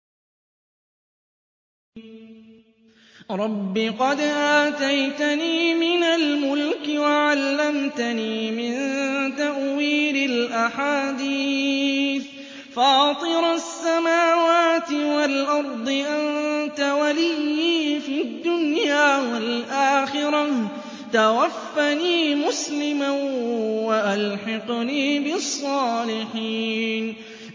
۞ رَبِّ قَدْ آتَيْتَنِي مِنَ الْمُلْكِ وَعَلَّمْتَنِي مِن تَأْوِيلِ الْأَحَادِيثِ ۚ فَاطِرَ السَّمَاوَاتِ وَالْأَرْضِ أَنتَ وَلِيِّي فِي الدُّنْيَا وَالْآخِرَةِ ۖ تَوَفَّنِي مُسْلِمًا وَأَلْحِقْنِي بِالصَّالِحِينَ